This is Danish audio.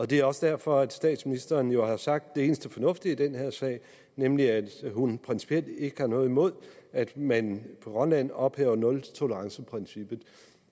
det er også derfor at statsministeren jo har sagt det eneste fornuftige i den her sag nemlig at hun principielt ikke har noget imod at man på grønland ophæver nultoleranceprincippet